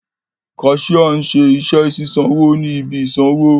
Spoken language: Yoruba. Cashier nṣe iṣẹ sisanwo ni ibi isanwo.